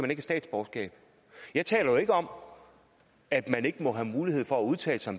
have statsborgerskab jeg taler jo ikke om at man ikke må have mulighed for at udtale sig